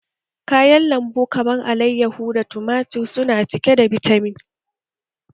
Kayan lambu kamar alayyahu da tumatir su na cike da bitamin